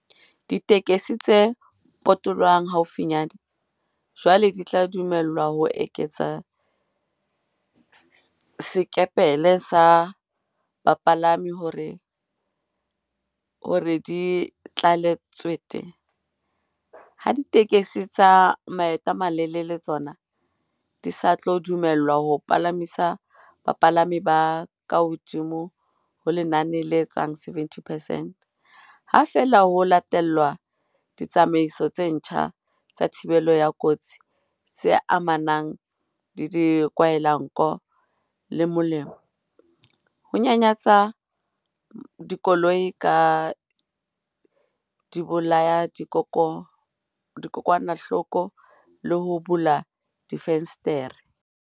Ditekesi tse potolohang haufinyane jwale di tla dumellwa ho eketsa sekepele sa bapalami hore di tlale tswete, ha ditekesi tsa maeto a malelele tsona di sa tlo dumellwa ho palamisa bapalami ba kahodimo ho lenane le etsang 70 percent, ha feela ho latelwa ditsamaiso tse ntjha tsa thibelo ya kotsi tse amanang le dikwahelanko le molomo, ho nyanyatsa makoloi ka dibolayadikokwanahloko le ho bula difenstere.